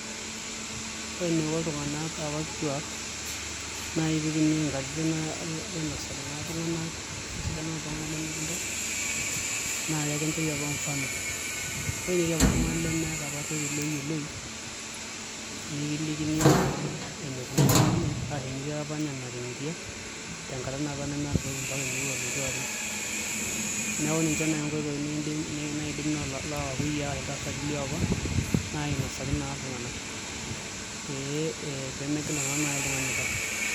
Kai naa apa iko iltungana apa kituak nai peeituya inkatini ainosaki naa iltungana esidano iltunganak lemegil Tau naa kakinchori apa mufano ebaiki netii apa oltungani lemeeta toki oyuoloi nikilikini naa enikuna apa ninye arashu engirita apa natingiria tenkata naapa neeta toki emeu ninye atum neeku ninche nai inkoitoi naidim lookakuyiai iltasati liopa ainasaki nai iltungana pee megira nai oltungani Tau.